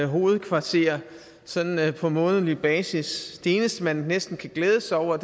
hovedkvarter sådan på månedlig basis det eneste man næsten kan glæde sig over